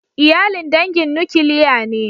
Iyalin dangin nukiliya ne?